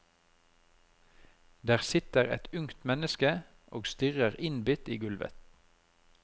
Der sitter det et ungt menneske og stirrer innbitt i gulvet.